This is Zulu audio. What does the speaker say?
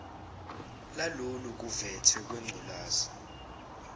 lalolu khuvethe lwengculazi